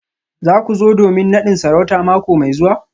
Za ku zo domin nadin sarauta mako mai zuwa?